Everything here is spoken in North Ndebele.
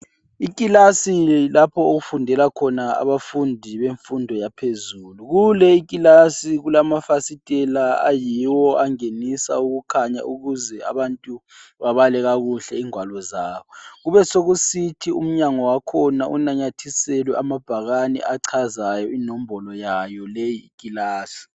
Ikilasi yilapho okufundela khona abafundi bemfundo yaphezulu, kule ikilasi kulamafasitela ayiwo angenisa ukukhanya ukuze abantu, babale kakuhle ingwalo zabo, kubesekusithi umnyango wakhona unanyathiselwe amabhakane achazayo inombolo yayo leyikilasi.